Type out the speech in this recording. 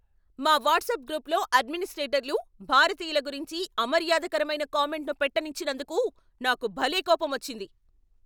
మా వాట్సాప్ గ్రూప్లో అడ్మినిస్ట్రేటర్లు భారతీయుల గురించి అమర్యాదకరమైన కామెంట్ను పెట్టనిచ్చినందుకు నాకు భలే కోపమొచ్చింది.